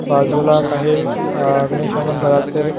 बाजूला काही अ गणेशा मंदिरातील--